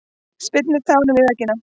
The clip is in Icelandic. Spyrnir tánum í veggina.